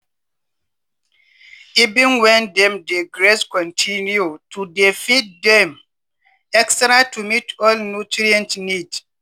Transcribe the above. even when dem dey graze continue to dey feed dem extra to meet all nutrient need.